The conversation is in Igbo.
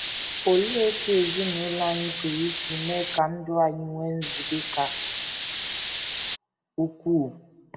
Olee otú ezinụlọ anyị pụrụ isi mee ka ndụ anyị nwee nzube ka ukwuu?